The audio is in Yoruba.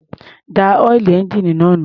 Dá ọ́ìlì ẹ́ńjíìnì náà nù.